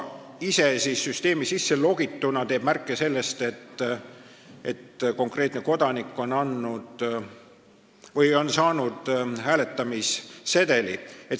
Olles süsteemi sisse logitud, teeb ta märke selle kohta, et konkreetne kodanik on saanud hääletamissedeli.